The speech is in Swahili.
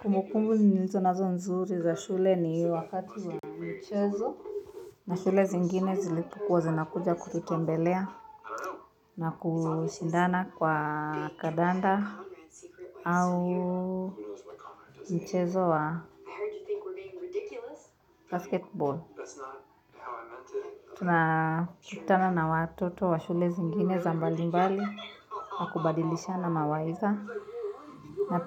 Kumbukumbu nilizo nazo nzuri za shule ni wakati wa michezo na shule zingine zinakuja kushindana mchezo wa kandanda au mchezo wa basketbol. Tuna kutana na watoto wa shule zingine za mbali mbali na kubadilishana mawaidha. Za